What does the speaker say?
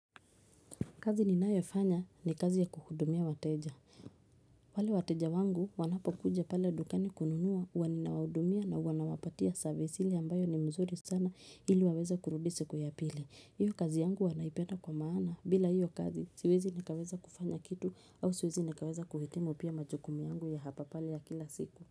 Kazi ninayofanya ni kazi ya kuhudumia wateja. Wale wateja wangu wanapokuja pale dukani kununua wanina waudumia na wanawapatia service hile ambayo ni mzuri sana ili waweza kurudi siku ya pili. Iyo kazi yangu huwa naipenda kwa maana bila iyo kazi siwezi nikaweza kufanya kitu au siwezi nikaweza kuhitimu pia majukumu yangu ya hapa pale ya kila siku.